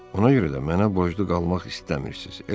Ona görə də mənə borclu qalmaq istəmirsiz, eləmi?